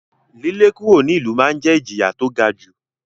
lílé kúrò nílùú ma ń jẹ́ ìjìyà tó ga jù.